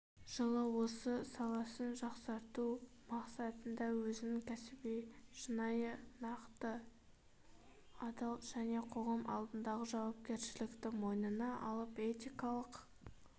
жылы осы саласын жақсарту мақсатында өзін кәсіби шынайы нақты адал және қоғам алдындағы жауапкершілікті мойнына алып этикалық